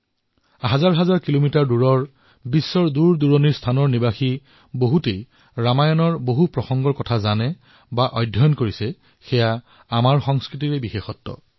সহস্ৰ কিলোমিটাৰ দূৰৰ বিশ্বৰ বিভিন্ন প্ৰান্তৰ লোকে ৰামায়ণৰ সেই প্ৰসংগ ইমান গভীৰতাৰে জানে তেওঁলোকৰ মনত গভীৰ প্ৰভাৱ পৰিছে এয়াই আমাৰ সংস্কৃতিৰ বৈশিষ্টতা